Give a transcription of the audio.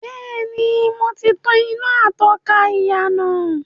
Bẹ́ẹ̀ni, mo ti tàn iná atọ́ka ìyànà.